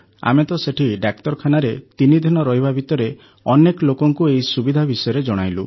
ଆମେ ତ ସେଠି ଡାକ୍ତରଖାନାରେ ତିନିଦିନ ରହିବା ଭିତରେ ଅନେକ ଲୋକଙ୍କୁ ଏହି ସୁବିଧା ବିଷୟରେ ଜଣାଇଲୁ